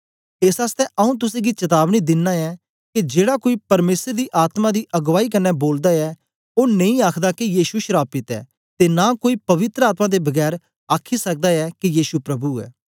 एस आसतै आऊँ तुसेंगी चतावनी दिना ऐं के जेड़ा कोई परमेसर दी आत्मा दी अगुआई कन्ने बोलदा ऐ ओ नेई आखदा के यीशु श्रापित ऐ ते नां कोई पवित्र आत्मा दे बगैर आखी सकदा ऐ के यीशु प्रभु ऐ